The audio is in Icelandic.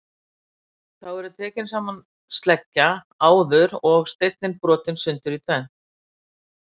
þá er tekin sama sleggja og áður og steinninn brotinn sundur í tvennt